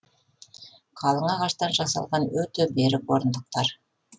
қалың ағаштан жасалған өте берік орындықтар